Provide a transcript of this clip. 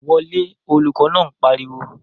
Wọ lé! Olùkọ̀ náà pariwo